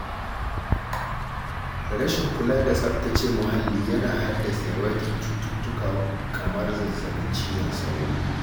Rashin kula da tsabtace muhalli yana haddasa yawaitar cututtuka kamar zazzabin cizon sauro.